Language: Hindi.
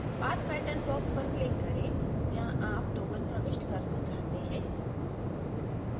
path pattern box पर click करें जहाँ आप token प्रविष्ट करना चाहते हैं